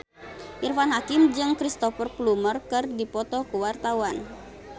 Irfan Hakim jeung Cristhoper Plumer keur dipoto ku wartawan